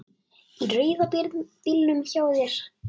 Í rauða bílnum hjá þér.